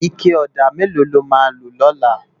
Iké òdá méló ló má lo lòlá?